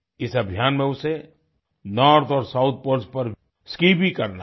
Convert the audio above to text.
इस अभियान में उसे नॉर्थ और साउथ पोल्स पर स्की भी करना है